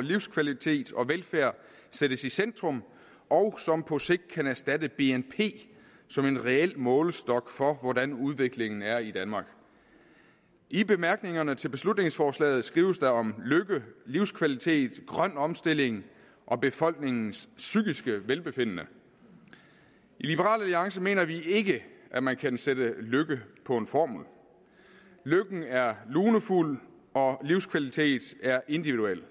livskvalitet og velfærd sættes i centrum og som på sigt kan erstatte bnp som en reel målestok for hvordan udviklingen er i danmark i bemærkningerne til beslutningsforslaget skrives der om lykke livskvalitet grøn omstilling og befolkningens psykiske velbefindende i liberal alliance mener vi ikke at man kan sætte lykke på en formel lykken er lunefuld og livskvalitet er individuel